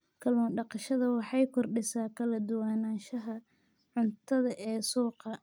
Kallun daqashada waxay kordhisaa kala duwanaanshaha cuntada ee suuqa.